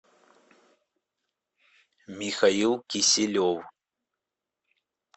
михаил кисилев